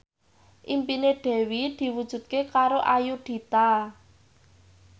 impine Dewi diwujudke karo Ayudhita